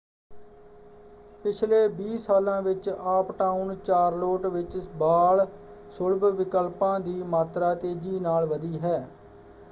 ਪਿਛਲੇ 20 ਸਾਲਾਂ ਵਿੱਚ ਆੱਪਟਾਊਨ ਚਾਰਲੋਟ ਵਿੱਚ ਬਾਲ-ਸੁਲਭ ਵਿਕਲਪਾਂ ਦੀ ਮਾਤਰਾ ਤੇਜ਼ੀ ਨਾਲ ਵਧੀ ਹੈ।